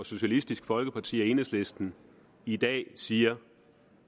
socialistisk folkeparti og enhedslisten i dag siger